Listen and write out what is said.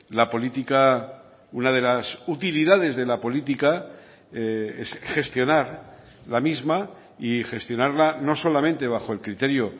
la política una de las utilidades de la política es gestionar la misma y gestionarla no solamente bajo el criterio